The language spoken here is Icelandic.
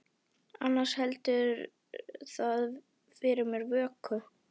Annars heldur það fyrir mér vöku.